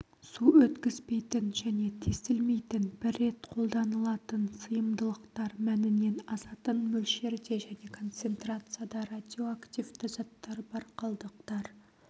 су өткізбейтін және тесілмейтін бір рет қолданылатын сыйымдылықтар мәнінен асатын мөлшерде және концентрацияда радиоактивті заттар бар қалдықтар